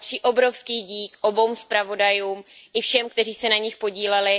Obrovský dík patří oběma zpravodajům i všem, kteří se na nich podíleli.